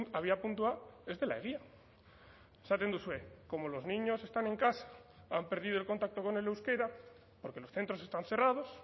abiapuntua ez dela egia esaten duzue como los niños están en casa han perdido el contacto con el euskera porque los centros están cerrados